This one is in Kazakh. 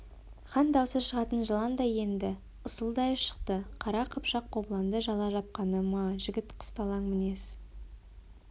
хан даусы шағатын жыландай енді ысылдай шықты қара қыпшақ қобыланды жала жапқаны ма жігіт қысталаң мінез